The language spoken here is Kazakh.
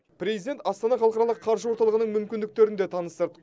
президент астана халықаралық қаржы орталығының мүмкіндіктерін де таныстырды